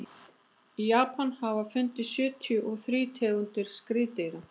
í japan hafa fundist sjötíu og þrír tegundir skriðdýra